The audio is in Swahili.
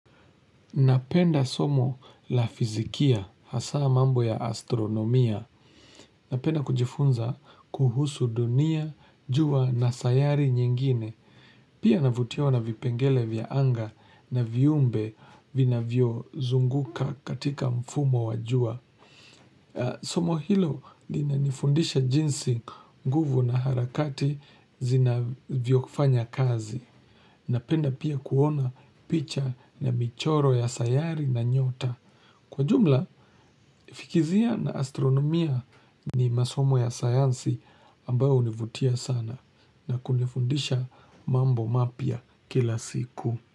Napenda somo la fizikia, hasa mambo ya astronomia. Napenda kujifunza kuhusu dunia, jua na sayari nyingine. Pia navutiawa na vipengele vya anga na viumbe vina vio zunguka katika mfumo wajua. Somo hilo lina nifundisha jinsi nguvu na harakati zinavyo kufanya kazi. Napenda pia kuona picha na michoro ya sayari na nyota. Kwa jumla, fikizia na astronomia ni masomo ya sayansi ambao univutia sana na kunifundisha mambo mapya kila siku.